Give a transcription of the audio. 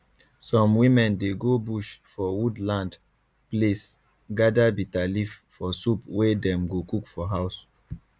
some women dey go bush for wood land place gather bitterleaf for soup wey dem go cook for house